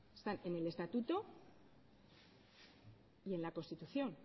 están en el estatuto y en la constitución